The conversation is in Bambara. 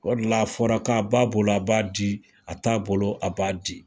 O de la a fɔra k'a b'a bolo a b'a di a t'a bolo a b'a di